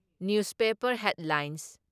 Newspaper headlines.